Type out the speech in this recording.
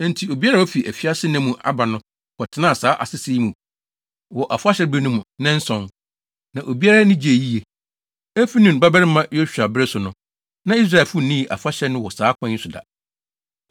Enti obiara a wafi afiasenna mu aba no kɔtenaa saa asese yi mu wɔ afahyɛbere no mu nnanson; na obiara ani gyee yiye. Efi Nun babarima Yosua bere so no, na Israelfo nnii afahyɛ no wɔ saa kwan yi so da.